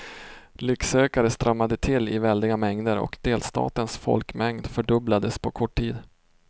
Lycksökare strömmade till i väldiga mängder och delstatens folkmängd fördubblades på kort tid.